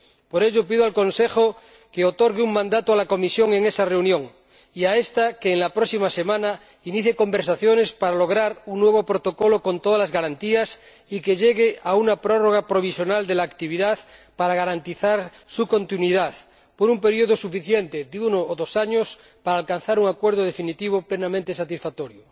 Por ello, pido al Consejo que otorgue un mandato a la Comisión en esa reunión, y a ésta que en la próxima semana inicie conversaciones para lograr un nuevo protocolo con todas las garantías y que llegue a una prórroga provisional de la actividad a fin de garantizar su continuidad por un periodo suficiente, de uno o dos años, para alcanzar un acuerdo definitivo, plenamente satisfactorio.